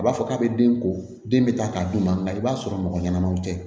A b'a fɔ k'a bɛ den ko den bɛ taa k'a d'u ma nka i b'a sɔrɔ mɔgɔ ɲɛnamaw tɛ